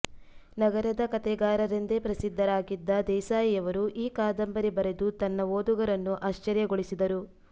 ನಗರದ ಕತೆಗಾರರೆಂದೇ ಪ್ರಸಿದ್ಧರಾಗಿದ್ದ ದೇಸಾಯಿಯವರು ಈ ಕಾದಂಬರಿ ಬರೆದು ತನ್ನ ಓದುಗರನ್ನು ಆಶ್ಚರ್ಯಗೊಳಿಸಿದರು